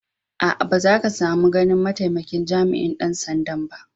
Aa, ba za ka samu ganin ma'taimakin jami'in dan sanda'n ba.